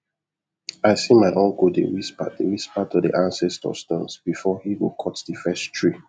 i see my uncle dey whisper dey whisper to the ancestor stones before he go cut the first tree